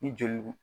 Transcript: Ni joli